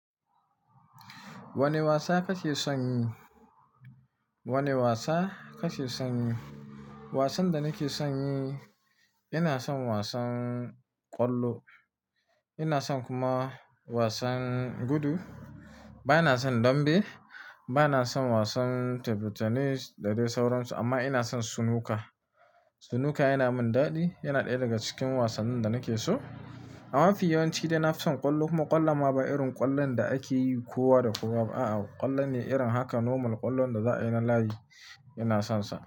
Wane wasa kake son yi? Wane wasa kake son yi? Wasan da nake son yi, ina son wasan ƙwallo. Ina son kuma wasan gudu. Ba na son dambe. Ba na son wasan, table tennis da dai sauransu, amma ina son sunuka. Sunuka yana min daɗi. Yana ɗaya daga cikin wasannin da nake so. Amma fi yawanci dai na fison ƙwallo. Kuma ƙwallon ma ba irin ƙwallon da ake yi kowa da kowa ba. A'a, ƙwallon ne irin haka normal ƙwallon da za a yi ran lahadi, ina sonsa.